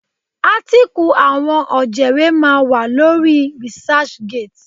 Átíkù àwọn ọ̀jẹ̀wé máa wà lórí researchgate.